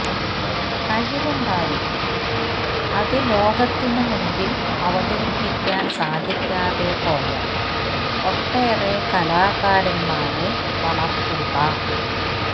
കഴിവുണ്ടായിട്ടും അത് ലോകത്തിന് മുൻപിൽ അവതരിപ്പിക്കാൻ സാധിക്കാതെ പോയ ഒട്ടേറെ കലാകാരന്മാരെ വളർത്തുന്ന